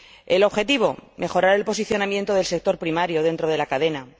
El objetivo mejorar el posicionamiento del sector primario dentro de la cadena